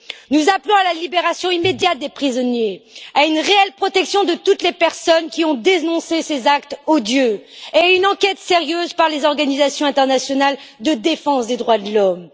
Nous appelons à la libération immédiate des prisonniers, à une réelle protection de toutes les personnes qui ont dénoncé ces actes odieux et à une enquête sérieuse menée par les organisations internationales de défense des droits de l'homme.